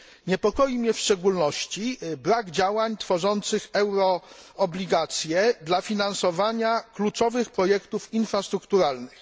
Niepokoi mnie w szczególności brak działań tworzących euroobligacje dla finansowania kluczowych projektów infrastrukturalnych.